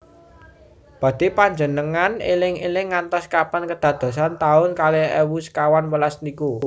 Badhe panjengengan eling eling ngantos kapan kedadosan taun kalih ewu sekawan welas niku?